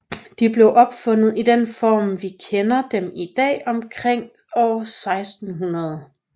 De blev opfundet i den form vi kender dem i dag omkring år 1600